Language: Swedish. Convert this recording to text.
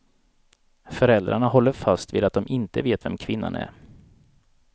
Föräldrarna håller fast vid att de inte vet vem kvinnan är.